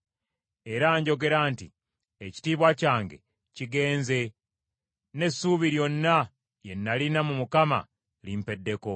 Era njogera nti, “Ekitiibwa kyange kigenze, n’essuubi lyonna lye nalina mu Mukama limpeddeko.”